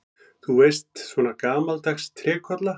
Þú veist, svona gamaldags trékolla.